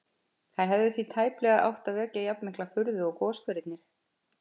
Þær hefðu því tæplega átt að vekja jafnmikla furðu og goshverirnir.